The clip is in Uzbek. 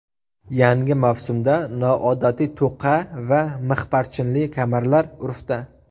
Yangi mavsumda noodatiy to‘qa va mixparchinli kamarlar urfda.